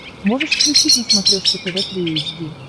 можешь включить на смотрешке тв три эйч ди